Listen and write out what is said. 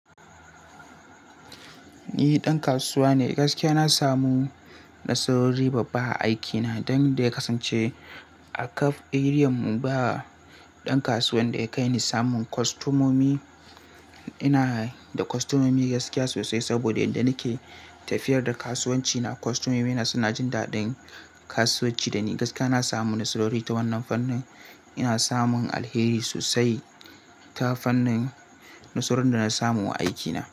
Ni ɗan kasuwa ne, gaskiya na samu nasarori babba a aikina don da ya kasance a kaf arean mu ba ɗan kasuwan da ya kai ni samun kostomomi. Ina da kostomomi gaskiya sosai saboda inda nake tafiyar da kasuwanci na kostomomina suna jin daɗin kasuwanci da ni. Gaskiya na samu nasarori ta wannan fannin. Ina samun alheri sosai ta fannin nasarorin da na samu wa aikina.